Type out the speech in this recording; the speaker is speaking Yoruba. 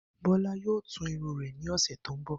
Bó̩lá yóò tú irun rè̩ ní ò̩sè̩ tó ń bò̩